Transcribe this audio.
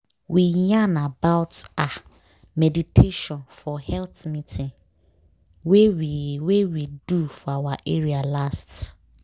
we yarn about ah! meditation for health meeting wey we wey we do for our area last.